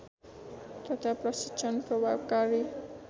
तथा प्रशिक्षण प्रभावकारी